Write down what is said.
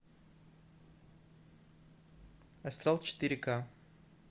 астрал четыре ка